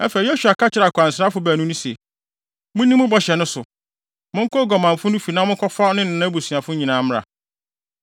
Afei, Yosua ka kyerɛɛ akwansrafo baanu no se, “Munni mo bɔhyɛ no so. Monkɔ oguamanfo no fi na monkɔfa no ne nʼabusuafo nyinaa mmra.”